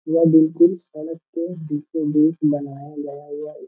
यह बिल्कुल सड़क के बीचों-बीच बनाया गया यह एक --